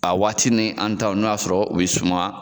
A waati ni an taw n'a y'a sɔrɔ u bɛ suma.